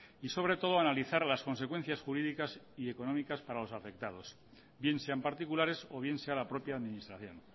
y sobre todo analizar las consecuencias jurídicas y económicas para los afectados bien sean particulares o bien sea la propia administración